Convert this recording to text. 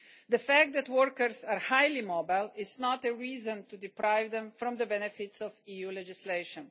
The fact that workers are highly mobile is not a reason to deprive them of the benefits of EU legislation.